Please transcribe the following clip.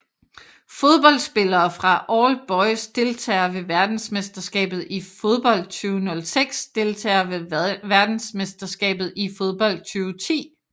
Fodboldspillere fra All Boys Deltagere ved verdensmesterskabet i fodbold 2006 Deltagere ved verdensmesterskabet i fodbold 2010